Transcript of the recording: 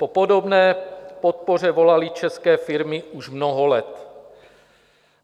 Po podobné podpoře volaly české firmy už mnoho let.